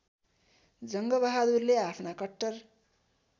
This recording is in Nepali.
जङ्गबहादुरले आफ्ना कट्टर